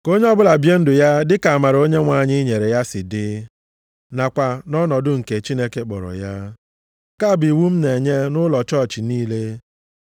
Ka onye ọbụla bie ndụ ya dịka amara Onyenwe anyị nyere ya si dị, nakwa nʼọnọdụ nke Chineke kpọrọ ya. Nke a bụ iwu m na-enye nʼụlọ chọọchị niile.